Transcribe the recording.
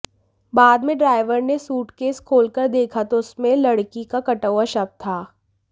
बाद में ड्राइवर ने सूटकेस खोलकर देखा तो उसमें लड़की का कटा हुआ शव था